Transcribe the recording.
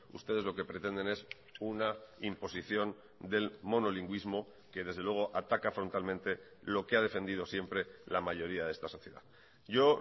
ustedes lo que pretenden es una imposición del monolingüismo que desde luego ataca frontalmente lo que ha defendido siempre la mayoría de esta sociedad yo